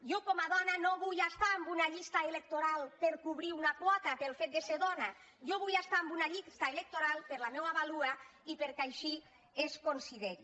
jo com a dona no vull estar en una llista electoral per cobrir una quota pel fet de ser dona jo vull estar en una llista electoral per la meua vàlua i perquè així es consideri